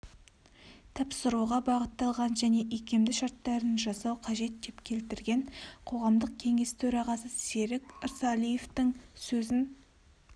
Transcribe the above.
тапсыруға бағытталған және икемді шарттарын жасау қажет деп келтірген қоғамдық кеңес төрағасы серік ырсалиевтің сөзін